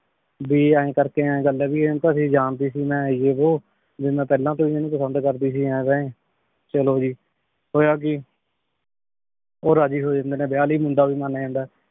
ਭੀ ਈਨ ਕਰ ਈਨ ਗਲ ਆਯ ਭੀ ਏਨੁ ਤਾਂ ਸਹੀ ਜਾਂਦੀ ਸੀ ਮੈਂ ਏ ਵੋ ਭੀ ਮੈਂ ਏਫ੍ਲਾਂ ਤੋਂ ਈ ਏਨੁ ਪਸੰਦ ਕਰਦੀ ਸੀ ਇਵੇਂ ਚਲੋ ਜੀ ਹੋਯਾ ਕੀ ਊ ਰਾਜ਼ੀ ਹੋ ਜਾਂਦੇ ਨੇ ਵਿਯਾਹ ਲੈ ਮੁੰਡਾ ਵੀ ਮਨ ਜਾਂਦਾ ਆਯ